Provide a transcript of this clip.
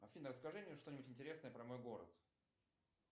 афина расскажи мне что нибудь интересное про мой город